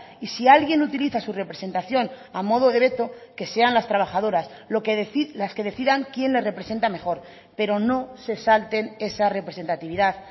y si alguien utiliza su representación a modo de veto que sean las trabajadoras las que decidan quién les representa mejor pero no se salten esa representatividad